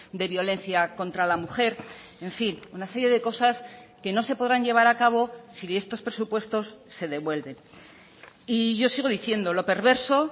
de violencia contra la mujer en fin una serie de cosas que no se podrán llevar a cabo si estos presupuestos se devuelven y yo sigo diciendo lo perverso